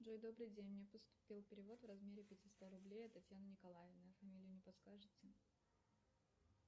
джой добрый день мне поступил перевод в размере пятиста рублей от татьяны николаевны а фамилию не подскажете